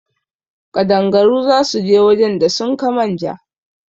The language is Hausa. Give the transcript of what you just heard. Ƙadangaru za su je wajen da sun ka manja